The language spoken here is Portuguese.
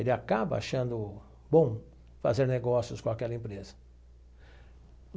Ele acaba achando bom fazer negócios com aquela empresa.